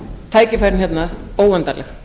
tækifærin hérna óendanleg